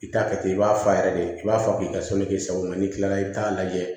I t'a kɛ ten i b'a fa yɛrɛ de i b'a fɔ k'i ka k'i sago ye n'i kila la i bɛ t'a lajɛ